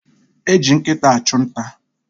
Eji nkịta achụ nta.